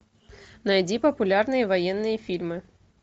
найди популярные военные фильмы